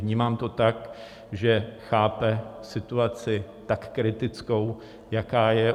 Vnímám to tak, že chápe situaci tak kritickou, jaká je.